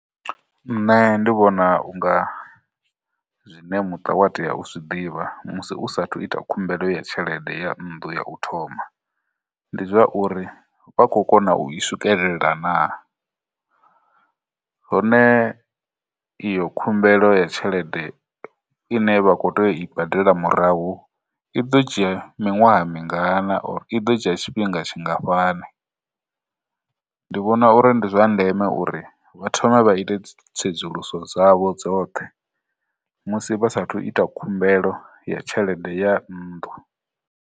Nṋe ndi vhona unga zwine muṱa wa tea u zwi ḓivha musi u sathu ita khumbelo ya tshelede ya nnḓu ya u thoma, ndi zwa uri vha khou kona u i swikelela na, hone iyo khumbelo ya tshelede ine vha khou tea u i badela murahu, i ḓo dzhia miṅwaha mingana i ḓo dzhia tshifhinga tshingafhani. Ndi vhona uri ndi zwa ndeme uri vha thome vha ite tsedzuluso dzavho dzoṱhe musi vha sathu ita khumbelo ya tshelede ya nnḓu.